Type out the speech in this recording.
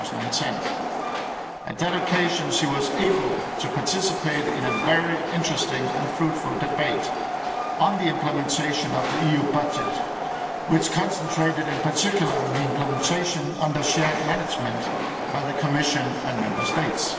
2010. On that occasion she was able to participate in a very interesting and fruitful debate on the implementation of the EU budget, which concentrated in particular on its implementation under shared management by the Commission and Member States.